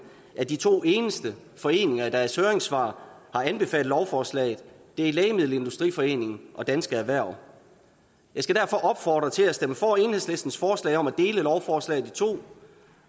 at de to eneste foreninger der i deres høringssvar har anbefalet lovforslaget er lægemiddelindustriforeningen og dansk erhverv jeg skal derfor opfordre til at stemme for enhedslistens forslag om at dele lovforslaget i to